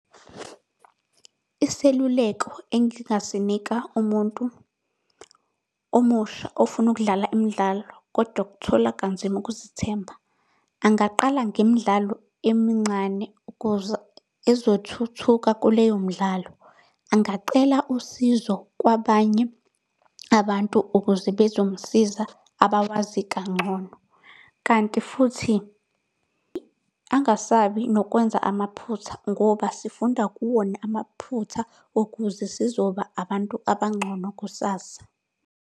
Iseluleko engingasinika umuntu omusha ofuna ukudlala imidlalo, kodwa okuthola kanzima ukuzithemba. Angaqala ngemidlalo emincane ukuze ezothuthuka kuleyo midlalo. Angacela usizo kwabanye abantu ukuze bezomsiza abawazi kangcono. Kanti futhi, angasabi nokwenza amaphutha ngoba sifunda kuwona amaphutha ukuze sizoba abantu abangcono kusasa.